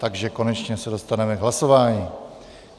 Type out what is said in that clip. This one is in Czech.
Takže konečně se dostaneme k hlasování.